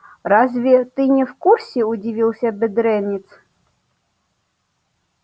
разве ты не в курсе удивился бедренец